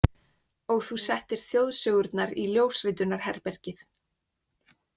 Og þú settir Þjóðsögurnar í ljósritunarherbergið.